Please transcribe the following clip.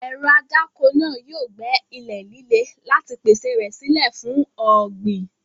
Ẹ̀rọ adáko náà yóò gbẹ́ ilẹ̀ líle láti pèsè rẹ̀ sílẹ̀ fún ọ̀gbìn.